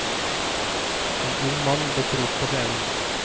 En ung mann dukker opp på scenen.